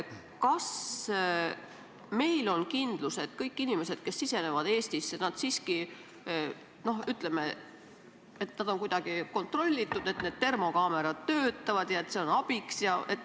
Kas meil on kindlus, et kõik inimesed, kes sisenevad Eestisse, on siiski kuidagi kontrollitud, et termokaamerad töötavad ja et see on abiks?